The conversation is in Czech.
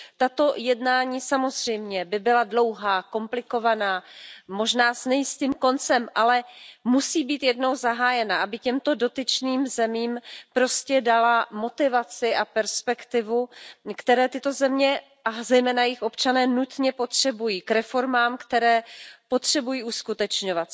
Tato jednání samozřejmě by byla dlouhá, komplikovaná, možná s nejistým koncem, ale musí být jednou zahájena, aby těmto dotyčným zemím prostě dala motivaci a perspektivu, kterou tyto země, a zejména jejich občané nutně potřebují k reformám, které potřebují uskutečňovat.